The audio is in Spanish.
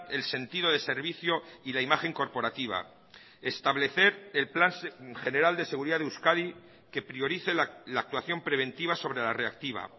el sentido de servicio y la imagen corporativa establecer el plan general de seguridad de euskadi que priorice la actuación preventiva sobre la reactiva